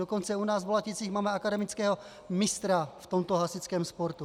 Dokonce u nás v Bolaticích máme akademického mistra v tomto hasičském sportu.